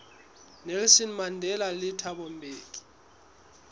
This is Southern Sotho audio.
nelson mandela le thabo mbeki